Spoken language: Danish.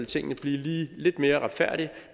tingene blive lige lidt mere retfærdige